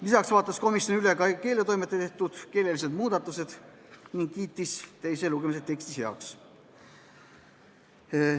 Lisaks vaatas komisjon üle keeletoimetaja tehtud keelelised muudatused ning kiitis teise lugemise teksti heaks.